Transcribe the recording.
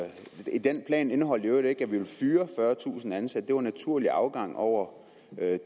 den plan indeholdt i øvrigt ikke at vi ville fyre fyrretusind ansatte det var naturlig afgang over